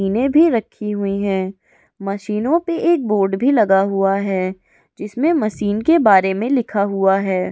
मशीने भी रखी हुई हैं मशीनों पे एक बोर्ड भी लगा हुआ है इसमें मशीन के बारे में लिखा हुआ है ।